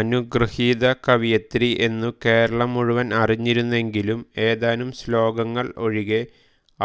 അനുഗൃഹീത കവയിത്രി എന്നു കേരളം മുഴുവൻ അറിഞ്ഞിരുന്നെങ്കിലും ഏതാനും ശ്ലോകങ്ങൾ ഒഴികെ